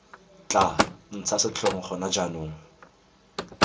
tla ntsha setlhong gona jaanong